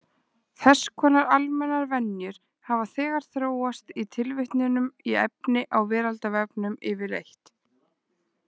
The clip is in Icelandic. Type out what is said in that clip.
Þess konar almennar venjur hafa þegar þróast í tilvitnunum í efni á Veraldarvefnum yfirleitt.